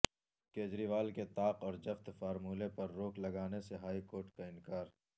کیجریوال کے طاق اور جفت فارمولے پر روک لگانے سے ہائی کورٹ کا انکار